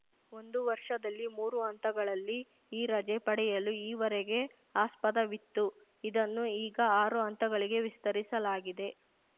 ಒಂದು ವರ್ಷದಲ್ಲಿ ಮೂರು ಹಂತಗಳಲ್ಲಿ ಈ ರಜೆ ಪಡೆಯಲು ಈವರೆಗೆ ಆಸ್ಪದವಿತ್ತು ಇದನ್ನು ಈಗ ಆರು ಹಂತಗಳಿಗೆ ವಿಸ್ತರಿಸಲಾಗಿದೆ